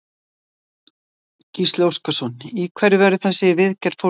Gísli Óskarsson: Í hverju verður þessi viðgerð fólgin?